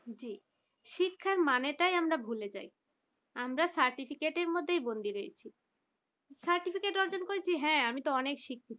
শিক্ষার মানে টাই আমরা ভুলে যাই আমরা certificate এর মধ্যেই বন্দি রয়েছে certificate অর্জন করেছি হ্যাঁ? আমি তো শিক্ষিত